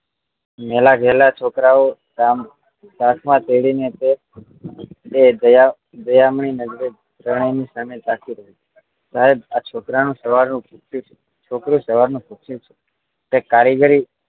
મેલા ઘેલા છોકરાઓ કાંખ માં પેરીને તે દયામણી નજરે એ ત્રણેવ ની સામે જાંકી રહી સાહેબ આ છોકરો સવાર નું ભૂક્યું છે છોકરું સવાર નું ભૂક્યું છે કઈ કારીગરી